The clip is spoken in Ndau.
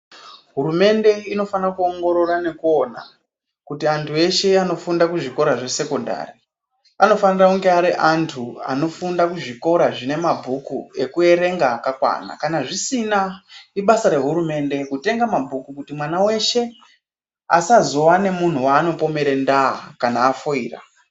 Hurumende inofana kuwongorora nekuwona, kuti antu veshe vanofunda kuzvikora zvesekhondari. Anofanira kunge ari antu anofunda kuzvikora zvinemabhuku ekuyerenga akakwana. Kana zvisina, ibasa rehurumende kutenga mabhuku kuti mwana weshe asazowane munhu wano pomerendaba kana afoira.